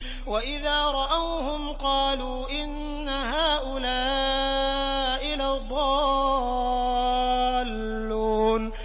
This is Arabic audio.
وَإِذَا رَأَوْهُمْ قَالُوا إِنَّ هَٰؤُلَاءِ لَضَالُّونَ